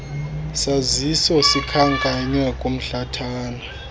saziso sikhankanywe kumhlathana